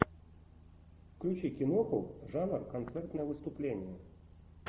включи киноху жанр концертное выступление